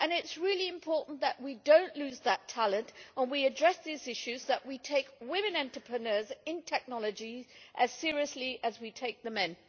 It is really important that we do not lose that talent and that we address these issues that we take women entrepreneurs in technology as seriously as we take men.